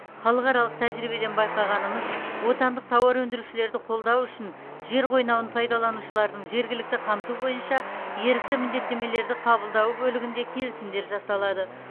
халықаралық тәжірибеден байқағанымыз отандық тауар өндірушілерді қолдау үшін жер қойнауын пайдаланушылардың жергілікті қамту бойынша ерікті міндеттемелерді қабылдауы бөлігінде келісімдер жасалады